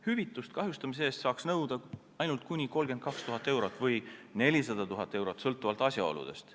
Hüvitust kahjustamise eest saaks nõuda ainult kuni 32 000 eurot või 400 000 eurot, sõltuvalt asjaoludest.